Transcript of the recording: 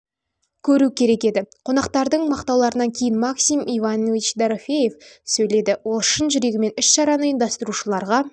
көру керек еді қонақтардың мақтауларынан кейін максим иванович дорофеев сөйледі ол шын жүрегімен іс-шараны ұйымдастырушыларға